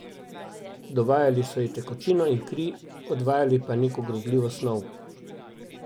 Dovajale so ji tekočino in kri, odvajale pa neko grozljivo snov.